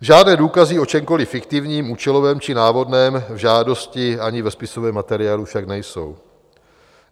"Žádné důkazy o čemkoliv fiktivním, účelovém či návodném v žádosti ani ve spisovém materiálu však nejsou.